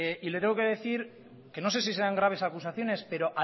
y le tengo que decir que no sé si serán graves acusaciones pero